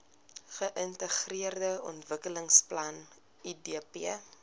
geintegreerde ontwikkelingsplan idp